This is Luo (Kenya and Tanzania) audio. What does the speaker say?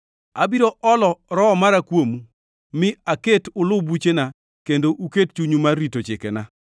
Abiro olo Roho mara kuomu, mi aket ulu buchena kendo uket chunyu mar rito chikena.